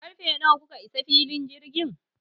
Karfe nawa kuka iso filin jirgin?